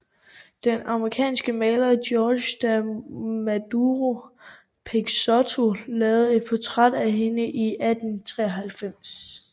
Den amerikanske maler George Da Maduro Peixotto lavede et portræt af hende i 1893